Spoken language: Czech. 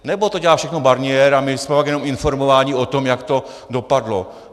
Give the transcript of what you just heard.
Nebo to dělá všechno Barnier a my jsme pak jenom informováni o tom, jak to dopadlo?